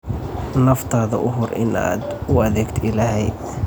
Naftaada u hur inaad u adeegto Ilaahay.